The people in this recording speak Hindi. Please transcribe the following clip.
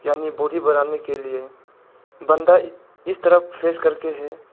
यानि बॉडी बनाने के लिए बंदा इस तरफ फेस करके है।